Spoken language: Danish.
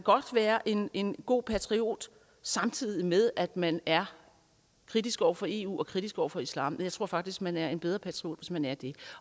være en en god patriot samtidig med at man er kritisk over for eu og kritisk over for islam jeg tror faktisk at man er en bedre patriot hvis man er det